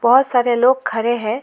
बहुत सारे लोग खड़े हैं।